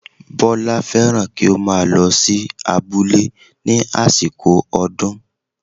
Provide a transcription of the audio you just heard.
Bọ́lá fẹ́ràn kí ó máa lọ sí abúlé ní àsìkò ọdún